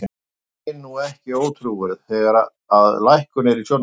Er kúvendingin nú ekki ótrúverðug, þegar að lækkun er í sjónmáli?